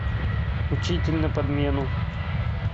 учитель на подмену